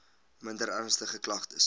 minder ernstige klagtes